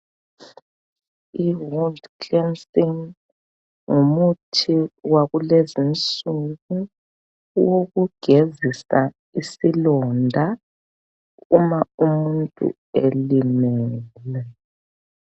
I wound cleansing, ngumuthi wakulezinsuku, owokugezisa isilonda uma umuntu elimele.